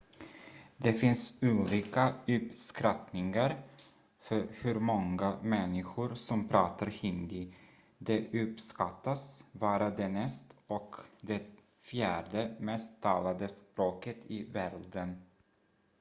det finns olika uppskattningar för hur många människor som pratar hindi det uppskattas vara det näst och det fjärde mest talade språket i världen